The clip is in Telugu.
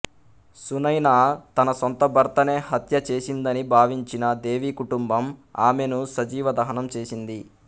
సునైనా తన సొంత భర్తనే హత్య చేసిందని భావించిన దేవి కుటుంబం ఆమెను సజీవ దహనం చేసింది